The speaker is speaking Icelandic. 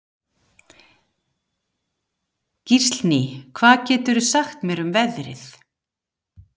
Gíslný, hvað geturðu sagt mér um veðrið?